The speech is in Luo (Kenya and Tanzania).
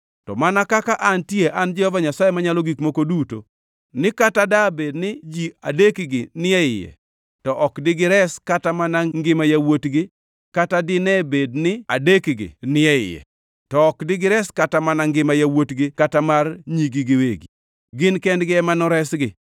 to mana kaka antie an Jehova Nyasaye Manyalo Gik Moko Duto ni kata dabed ni ji adekgi ni e iye, to ok digires kata mana ngima yawuotgi kata dine bed ni adekgi ni e iye, to ok digires kata mana ngima yawuotgi kata mar nyigi giwegi. Gin kendgi ema noresgi.